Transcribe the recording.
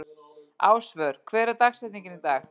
Ásvör, hver er dagsetningin í dag?